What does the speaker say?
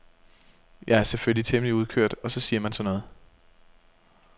Jeg er selvfølgelig temmelig udkørt og så siger man sådan noget.